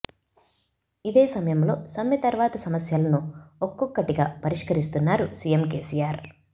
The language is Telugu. ఇదే సమయంలో సమ్మె తర్వాత సమస్యలను ఒక్కొక్కటిగా పరిష్కరిస్తున్నారు సీఎం కేసీఆర్